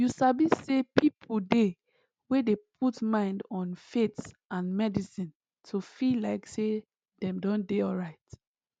you sabi say people dey wey dey put mind on faith and medicine to feel like say dem don dey alright